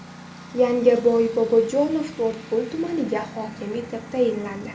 Yangaboy Bobojanov To‘rtko‘l tumaniga hokim etib tayinlandi.